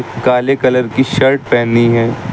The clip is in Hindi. काले कलर की शर्ट पहनी है।